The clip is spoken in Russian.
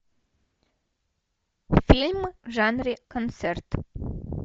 фильм в жанре концерт